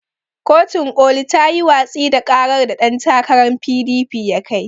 Kotun ƙoli tayi watsi da ƙarar da ɗan takaran PDP ya kai.